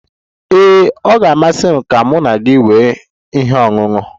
Ee, ọ ga-amasị m ka mụ na gị nwee ihe ọṅụṅụ.